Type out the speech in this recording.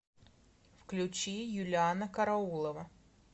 включи юлианна караулова